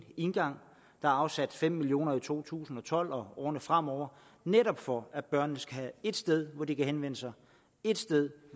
indgang der er afsat fem million kroner i to tusind og tolv og årene fremover netop for at børnene skal have ét sted hvor de kan henvende sig ét sted